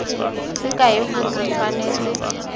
se kaya gore o tshwanetse